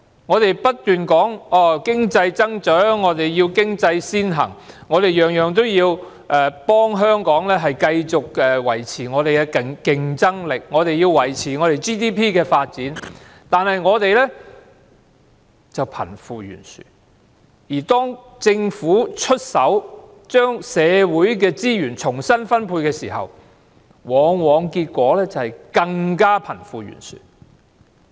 我們不斷說要為經濟增長，要經濟先行，凡事都要為香港繼續維持競爭力、維持 GDP 的發展而努力，但我們卻出現貧富懸殊問題，而當政府出手將社會資源重新分配時，結果往往是令貧富懸殊問題更嚴重。